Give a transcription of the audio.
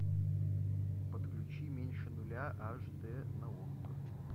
подключи меньше нуля аш д на окко